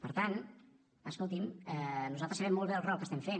per tant escolti’m nosaltres sabem molt bé el rol que estem fent